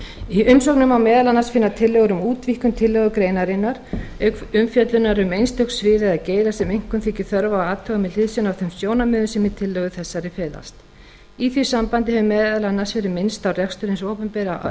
í umsögnum má meðal annars finna tillögur um útvíkkun tillögugreinarinnar auk umfjöllunar um einstök svið eða geira sem einkum þykir þörf á að athuga með hliðsjón af þeim sjónarmiðum sem í tillögu þessari felast í því sambandi hefur meðal annars verið minnst á rekstur hins opinbera á